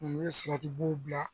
N'o ye bila